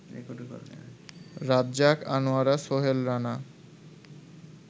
Razzak, Anowara, Sohel Rana